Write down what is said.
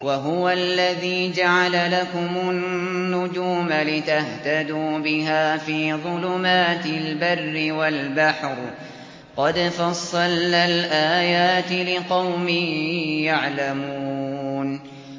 وَهُوَ الَّذِي جَعَلَ لَكُمُ النُّجُومَ لِتَهْتَدُوا بِهَا فِي ظُلُمَاتِ الْبَرِّ وَالْبَحْرِ ۗ قَدْ فَصَّلْنَا الْآيَاتِ لِقَوْمٍ يَعْلَمُونَ